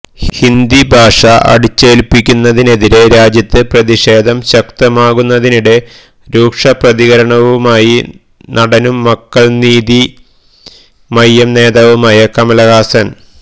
ഹിന്ദി ഭാഷാ അടിച്ചേല്പ്പിക്കുന്നതിനെതിരെ രാജ്യത്ത് പ്രതിഷേധം ശക്തമാകുന്നതിനിടെ രൂക്ഷ പ്രതികരണവുമായി നടനും മക്കള് നീതി മയ്യം നേതാവുമായ കമല്ഹാസന്